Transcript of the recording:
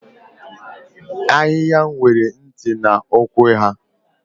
Ahịhịa nwere ntị na ụkwụ ha.